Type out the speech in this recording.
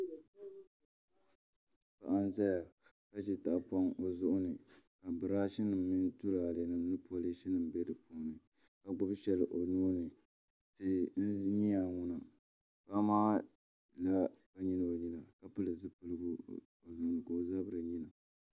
Paɣa n ʒɛya ka ʒi tahapoŋ o zuɣu ni ka birash nim ni tulaalɛ nim mini polish nim bɛ di puuni ka o gbubi shɛli o nuuni tia n ʒɛya ŋo paɣa maa nyɛla ŋun lihirili ka pili zipiligu ka o zabiri yina